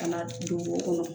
Ka na don o kɔnɔ